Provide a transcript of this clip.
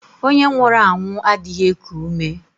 Ònye nwụrụ anwụ adịghị eku ume.